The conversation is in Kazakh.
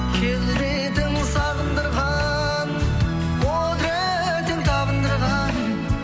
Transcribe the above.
келбетің сағындырған құдыретің табындырған